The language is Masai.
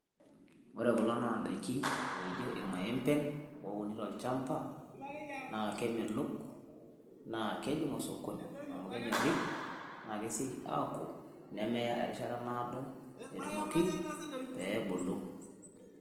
Ore kuna naa indaiki naa ijio irmaembe oouni tolchamba naa kemelok, naa kejing' osokoni amu keny'orri naa kesioki aaoku nemeya erishata naado aitoki peebulu.